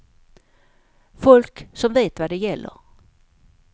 Folk som vet vad det gäller.